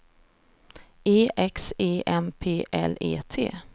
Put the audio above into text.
E X E M P L E T